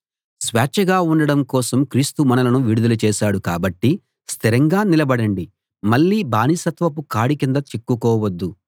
స్వేచ్ఛగా ఉండడం కోసం క్రీస్తు మనలను విడుదల చేశాడు కాబట్టి స్థిరంగా నిలబడండి మళ్ళీ బానిసత్వపు కాడి కింద చిక్కుకోవద్దు